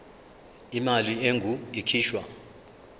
imali engur ikhishwa